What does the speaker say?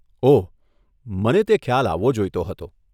ઓહ, મને તે ખ્યાલ આવવો જોઈતો હતો.